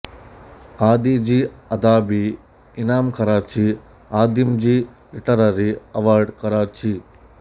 ಆದಿ ಜಿ ಅದಾಬಿ ಇನಾಮ್ ಕರಾಚಿ ಆದಿಂ ಜಿ ಲಿಟರರಿ ಅವಾರ್ಡ್ ಕರಾಚಿ